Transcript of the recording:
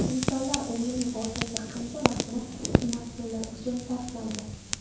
Insonlar umrining o‘rtacha qancha vaqtini smartfonlar uchun sarflaydi?.